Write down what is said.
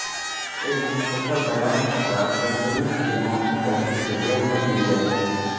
ایک مختصر بیان کے ساتھ بہترین فلموں کی فہرست ذیل میں دی جائے گی